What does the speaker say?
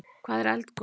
Hvað er eldgos?